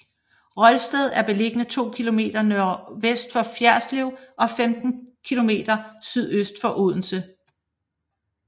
Rolsted er beliggende to kilometer nordvest for Ferritslev og 15 kilometer sydøst for Odense